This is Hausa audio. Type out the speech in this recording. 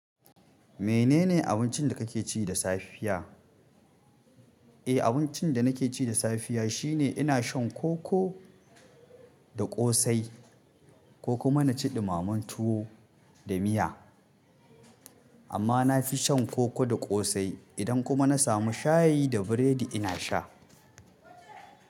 Menene abincin da kake ci da safiya? Eh, abincin da nake ci da safiya shine ina shan koko da ƙosai ko kuma naci ɗumamen tuwo da miya. Amma na fi shan koko da ƙosai. Idan kuma na samu shayi da biredi ina sha.